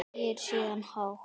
Segir síðan hátt: